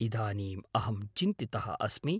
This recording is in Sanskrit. इदानीम् अहं चिन्तितः अस्मि।